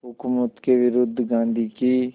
हुकूमत के विरुद्ध गांधी की